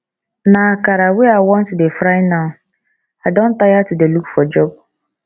na akara wey i wan to dey fry now i don tire to dey look for job